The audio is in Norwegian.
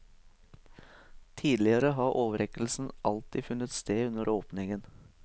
Tidligere har overrekkelsen alltid funnet sted under åpningen.